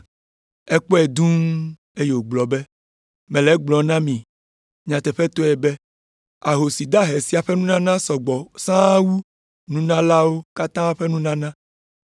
Yesu kpɔe dũu, eye wògblɔ be, “Mele egblɔm na mi nyateƒetɔe be ahosi dahe sia ƒe nunana sɔ gbɔ sãa wu nunalawo katã ƒe nunana.